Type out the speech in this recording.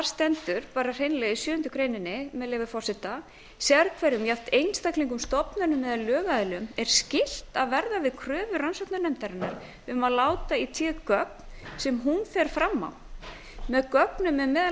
stendur hreinlega í sjöundu greinar með leyfi forseta sérhverjum jafnt einstaklingum stofnunum eða lögaðilum er skylt að verða við kröfu rannsóknarnefndarinnar um að láta í té gögn sem hún fer fram á með gögnum er meðal